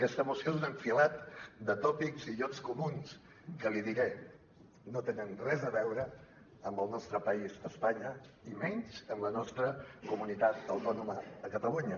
aquesta moció és un enfilall de tòpics i llocs comuns que li ho diré no tenen res a veure amb el nostre país espanya i menys amb la nostra comunitat autònoma catalunya